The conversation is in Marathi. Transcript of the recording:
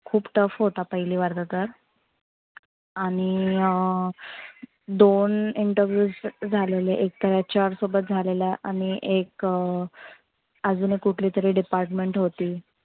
खुप tough होता पहिली वाला तर. आणि अं दोन interviews झालेले एक तर HR सोबत झालेला. आणि एक अं आजुन एक कुठली तरी department होती.